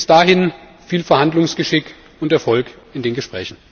Bis dahin viel Verhandlungsgeschick und Erfolg in den Gesprächen!